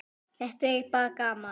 Þetta er bara gaman.